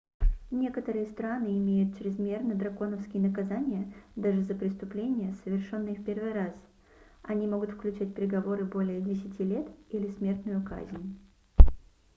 некоторые страны имеют чрезмерно драконовские наказания даже за преступления совершенные в первый раз они могут включать приговоры более 10 лет или смертную казнь